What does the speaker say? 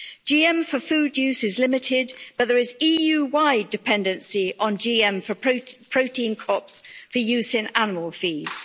GM for food use is limited, but there is EU-wide dependency on GM for protein crops for use in animal feeds.